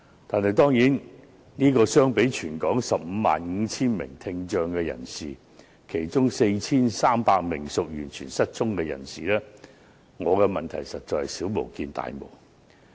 但是，相比全港 155,000 名聽障人士，特別是其中 4,300 名完全失聰的人士，我的問題實在是小巫見大巫。